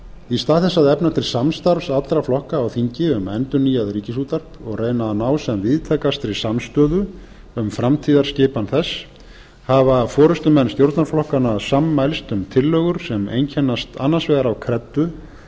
í stað þess að efna til samstarfs allra flokka á þingi um endurnýjað ríkisútvarp og reyna að ná sem víðtækastri samstöðu um framtíðarskipan þess hafa forustumenn stjórnarflokkanna sammælst um tillögur sem einkennast annars vegar af kreddu